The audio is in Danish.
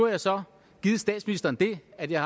jeg så statsministeren det at jeg